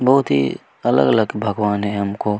बहुत ही अलग-अलग भगवान है हमको।